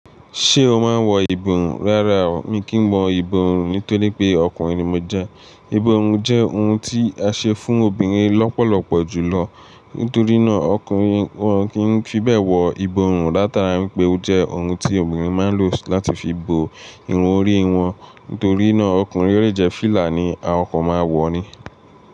Ṣé o máa ń wọ ìbòrun rárá o, mi kì n wọ ìbòrun nítorí pé ọkùnrin ni mo jẹ́. Ìbòrun jẹ́ ohun tí a ṣe fún obìnrin lọ́pọ̀lọpọ̀ jùlọ. Nítorí náà, ọkùnrin wọ́n kì n fi bẹ́ẹ̀ wọ ìbòrun. Látara wípé ó jẹ́ ohun tí obìnrin máa ń lò láti fi bo irun orí wọn. Nítorí náà, ọkùnrin le jẹ fílà ni a kan máa wọ̀ ni.